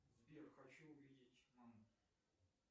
сбер хочу увидеть маму